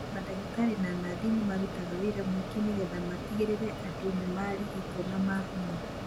Madagĩtarĩ na nathi nĩ marutaga wĩra mũingĩ nĩgetha matigĩrĩre andũ nĩ marigitwo na mahona